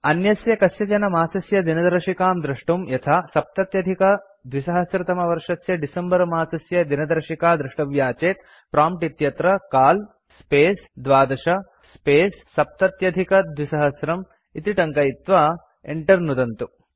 अन्यस्य कस्यचन मासस्य दिनदर्शिकां द्रष्टुं यथा २०७० तमवर्षस्य डिसेम्बर मासस्य दिनदर्शिका द्रष्टव्या चेत् प्रॉम्प्ट् इत्यत्र काल स्पेस् 12 स्पेस् 2070 इति टङ्कयित्वा enter नुदन्तु